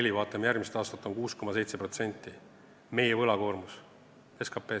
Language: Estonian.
Kui me vaatame järgmist aastat, siis on meie võlakoormus 6,7% SKP-st.